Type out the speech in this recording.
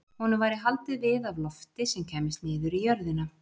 Honum væri haldið við af lofti sem kæmist niður í jörðina.